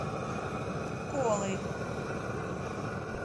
колой